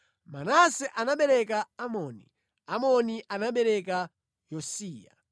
Manase anabereka Amoni, Amoni anabereka Yosiya.